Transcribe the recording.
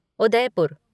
Udaipur